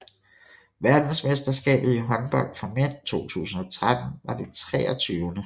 Verdensmesterskabet i håndbold for mænd 2013 var det 23